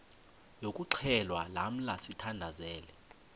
yokuxhelwa lamla sithandazel